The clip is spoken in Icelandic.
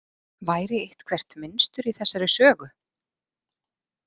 Væri eitthvert mynstur í þessari sögu?